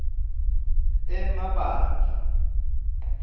emabandla